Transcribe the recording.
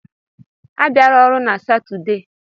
Abịala ọrụ na Satọde: